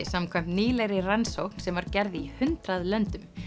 samkvæmt nýlegri rannsókn sem var gerð í hundrað löndum